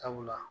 Sabula